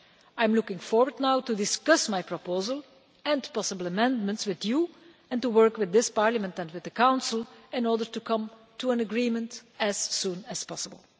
I am now looking forward to discussing my proposal and possible amendments with you and to working with this Parliament and with the Council in order to come to an agreement as soon as possible.